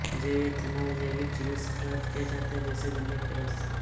जैवएथेनॉल जैविक चीजों से प्राप्त किया जाता है जैसे गन्ने के रस से